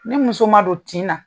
Ni muso ma don tin na